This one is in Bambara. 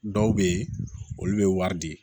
Dɔw bɛ yen olu bɛ wari di